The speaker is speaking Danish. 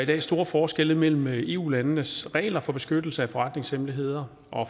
der store forskelle mellem eu landenes regler for beskyttelse af forretningshemmeligheder